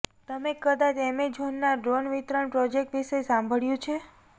તમે કદાચ એમેઝોનના ડ્રોન વિતરણ પ્રોજેક્ટ વિશે સાંભળ્યું છે